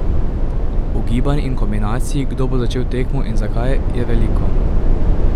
Ugibanj in kombinacij, kdo bo začel tekmo in zakaj, je veliko.